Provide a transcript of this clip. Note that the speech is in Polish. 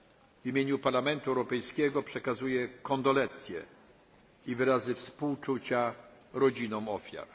W imieniu Parlamentu Europejskiego przekazuję kondolencje i wyrazy współczucia rodzinom ofiar.